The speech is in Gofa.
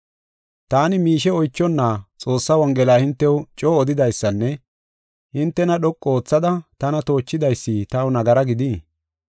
Taani miishe oychonna Xoossaa Wongela hintew coo odidaysinne hintena dhoqu oothada tana toochidaysi taw nagara gidii?